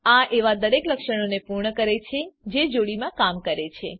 આ એવાં દરેક લક્ષણોને પૂર્ણ કરે છે જે જોડીમાં કામ કરે છે